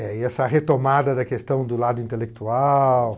É, e essa retomada da questão do lado intelectual...